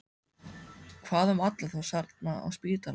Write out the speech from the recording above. Hvað um alla þá þarna á spítalanum?